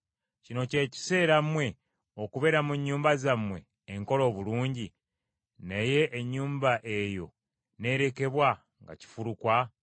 “Kino kye kiseera mmwe okubeera mu nnyumba zammwe enkole obulungi, naye ennyumba eyo n’erekebwa nga kifulukwa?”